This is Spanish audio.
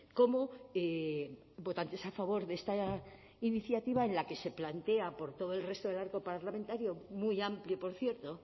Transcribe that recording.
cómo votantes a favor de esta iniciativa en la que se plantea por todo el resto del arco parlamentario muy amplio por cierto